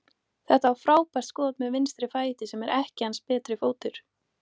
Þetta var frábært skot með vinstri fæti, sem er ekki hans betri fótur.